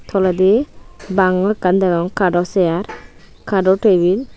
toledi bango ekkan degong kado seyar kado tebil .